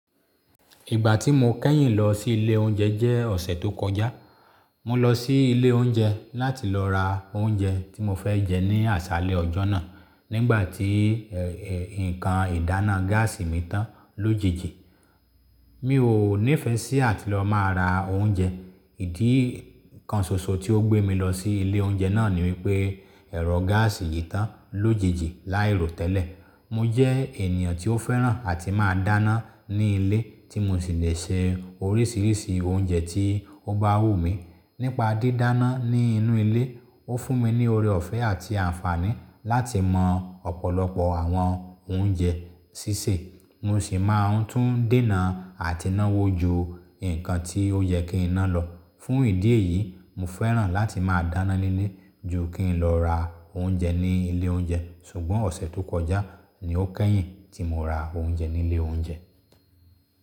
Ìgbà tí mo kẹ́yìn lọ sí ilé oúnjẹ jẹ́ ọ̀sẹ̀ tó kọjá. Mo lọ sí ilé oúnjẹ láti lọ ra oúnjẹ tí mo fẹ́ jẹ ní àsálé ọjọ́ náà nígbà tí ee nǹkan ìdáná gáàsì mi tán lójijì. Mi ò nífẹẹ sí àti lọ máa ra oúnjẹ. Ìdí kan ṣoṣo tí ó gbé mi lọ sí ilé oúnjẹ náà ni wípé ẹ̀rọ gáàsì yìí tán lójijì láì ro tẹ́lẹ̀. Mo jẹ́ ènìyàn tí ó fẹ́ràn àti máa dáná ní ilé tí mo sì lè se oríṣiríṣi oúnjẹ tí ó bá wù mí. Nípa dídáná ní inú ilé, ó fún mi ní oore ọ̀fẹ́ àti àǹfààní láti mọ ọ̀pọ̀lọpọ̀ àwọn oúnjẹ sísè. Mo sì máa ń tún dènà àti náwó ju nǹkan tí ó yẹ kí n ná lọ. Fún ìdí èyí, mo fẹ́ràn láti máa dáná nílé ju kí n lọ ra oúnjẹ ní ilé oúnjẹ. Ṣùgbọ́n ọ̀sẹ̀ tó kọjá ni ó kẹ́yìn tí mo ra oúnjẹ ní ilé oúnjẹ.